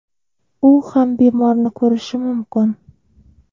U ham bemorni ko‘rishi mumkin.